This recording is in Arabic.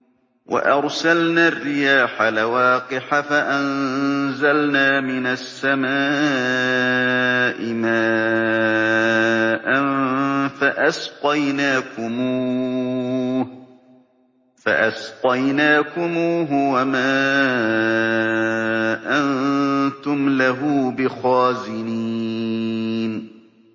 وَأَرْسَلْنَا الرِّيَاحَ لَوَاقِحَ فَأَنزَلْنَا مِنَ السَّمَاءِ مَاءً فَأَسْقَيْنَاكُمُوهُ وَمَا أَنتُمْ لَهُ بِخَازِنِينَ